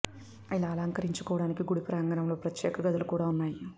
ఇలా అలంకరించుకోడానికి గుడి ప్రాంగణంలో ప్రత్యేకమైన గదులు కూడా ఉన్నాయి